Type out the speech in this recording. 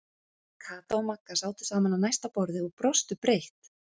Kata og Magga sátu saman á næsta borði og brostu breitt.